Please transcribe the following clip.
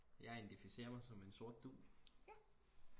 jeg identificerer mig som en sort dug